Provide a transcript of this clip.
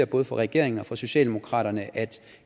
både fra regeringen og fra socialdemokratiet at